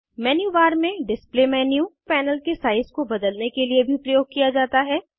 menu bar में display menu panel के size को बदलने के लिए भी प्रयोग किया जा सकता है